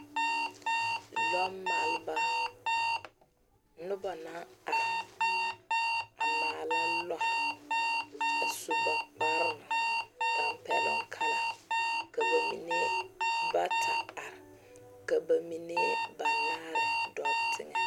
Lɔ maaleba, noba naŋ are a maala lɔre a su ba kpare, tampɛluŋ kala. Ka ba mene bata are. Ka ba mene banaare doo teŋe.